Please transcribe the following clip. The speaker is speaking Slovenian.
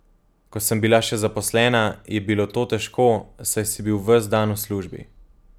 Ko sem bila še zaposlena, je bilo to težko, saj si bil ves dan v službi.